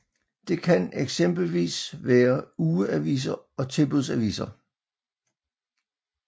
Det kan eksempelvis være ugeaviser og tilbudsaviser